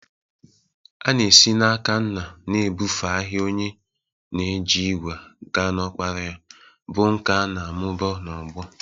A na-esi n'aka nna na-ebufe ahịa onye na-eji ígwè gaa n'ọkpara ya, bụ́ nkà a na-amụba n'ọgbọ.